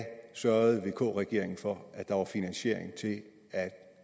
sørgede vk regeringen for at der var finansiering til at